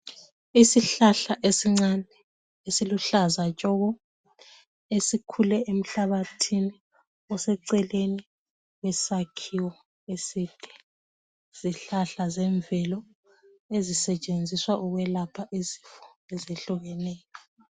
Isihlahla esincane esiluhlaza tshoko esikhule emhlabathini oseceleni kwesakhiwo eside yizihlahla zemvelo ezisetshenziswa ukwelapha izifo ezehlukeneyo.